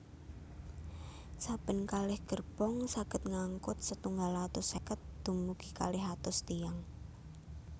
Saben kalih gerbong saged ngangkut setunggal atus seket dumugi kalih atus tiyang